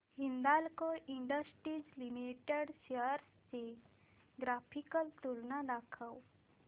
Hindalco industries limited shares ची graphical तुलना दाखव